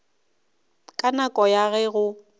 ka nako ya ge go